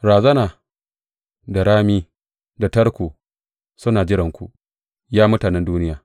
Razana da rami da tarko suna jiranku, Ya mutanen duniya.